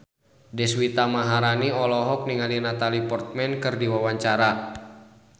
Deswita Maharani olohok ningali Natalie Portman keur diwawancara